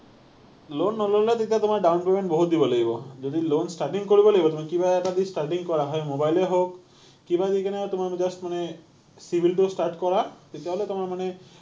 loan নল’লে তেতিয়া তোমাৰ down payment বহুত দিব লাগিব। যদি loan starting কৰিব লাগিব, তুমি কিবা এটা দি starting কৰা। হয় mobile এ হওক, কিব দি কেনে তোমাৰ just মানে CIBIL টো start কৰা, তেতিয়াহ’লে তোমাৰ মানে